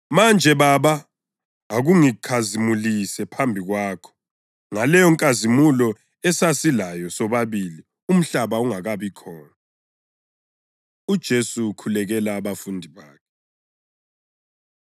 Manje, Baba, akungikhazimulise phambi kwakho ngaleyonkazimulo esasilayo sobabili umhlaba ungakabi khona.” UJesu Ukhulekela Abafundi Bakhe